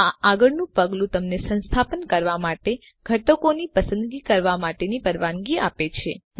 આ આગળનું પગલું તમને સંસ્થાપન કરવા માટે ઘટકોની પસંદગી કરવા માટેની પરવાનગી આપે છે